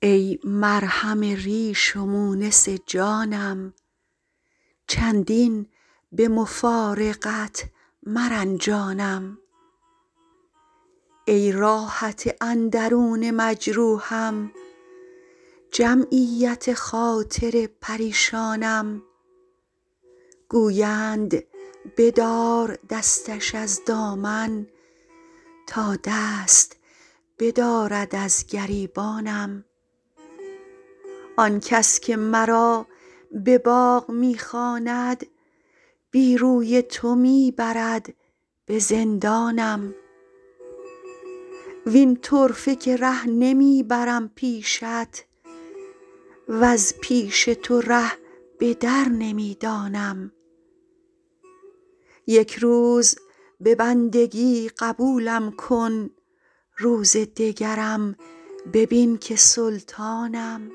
ای مرهم ریش و مونس جانم چندین به مفارقت مرنجانم ای راحت اندرون مجروحم جمعیت خاطر پریشانم گویند بدار دستش از دامن تا دست بدارد از گریبانم آن کس که مرا به باغ می خواند بی روی تو می برد به زندانم وین طرفه که ره نمی برم پیشت وز پیش تو ره به در نمی دانم یک روز به بندگی قبولم کن روز دگرم ببین که سلطانم